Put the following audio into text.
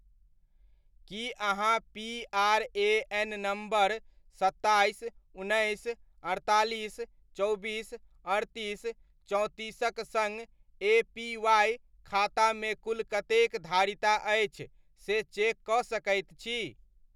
की अहाँ PRAN. Number सत्ताइस, उन्नैस, अड़तालिस, चौबीस, अड़तीस, चौंतीसक सङ्ग एपीवाइ खाता मे कुल कतेक धारिता अछि से चेक कऽ सकैत छी ?